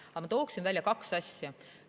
Aga ma toon välja kaks asja.